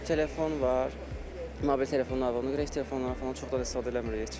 Telefon var, mobil telefonlar var, ona görə heç telefonlardan falan çox da istifadə eləmirik.